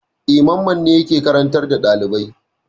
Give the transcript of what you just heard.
E, Mamman ne yake karantar da ɗalibai.